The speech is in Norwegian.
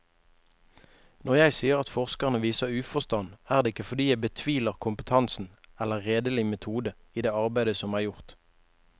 Når jeg sier at forskerne viser uforstand, er det ikke fordi jeg betviler kompetansen eller redelig metode i det arbeid som er gjort.